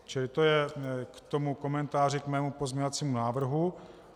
Čili to je k tomu komentáři k mému pozměňovacímu návrhu.